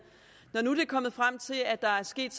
når det nu er kommet frem at der er sket